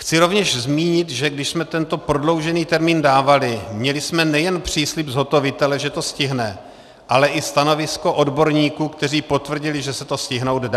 Chci rovněž zmínit, že když jsme tento prodloužený termín dávali, měli jsme nejen příslib zhotovitele, že to stihne, ale i stanovisko odborníků, kteří potvrdili, že se to stihnout dá.